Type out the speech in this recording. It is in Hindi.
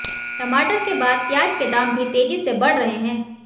टमाटर के बाद प्याज के दाम भी तेजी से बढ़ रहे हैं